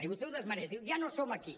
i vostè ho desmereix diu ja no som aquí